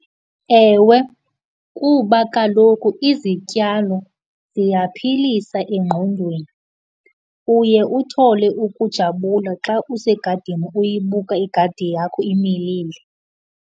Ewe, kuba kaloku izityalo ziyaphilisa engqondweni. Uye uthole ukujabula xa usegadini uyibuka igadi yakho imilile.